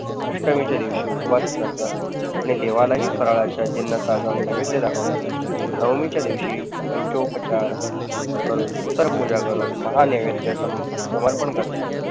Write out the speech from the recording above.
अष्टमीच्या दिवशी उपवास करतात आणि देवालाही फराळाच्या जीन्नसाचा नैवेद्य दाखवतात. नवमीच्या दिवशी पंचोपचार व उत्तर पूजा करून महा नैवेध्य समर्पण करतात.